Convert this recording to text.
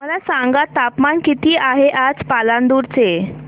मला सांगा तापमान किती आहे आज पालांदूर चे